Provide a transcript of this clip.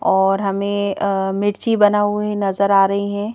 और हमेंअअमिर्ची बना हुए नजर आ रही हैं।